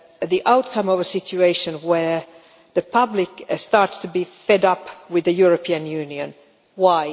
the outcome of a situation where the public have started to be fed up with the European Union. Why?